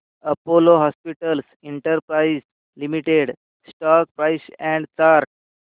Apollo Hospitals Enterprise Limited stock price and chart